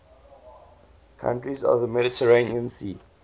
countries of the mediterranean sea